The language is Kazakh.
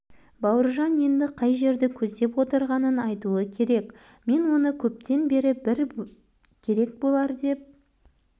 бауыржан енді қай жерді көздеп отырғанын айтуы керек мен оны көптен бері бір керек болар деп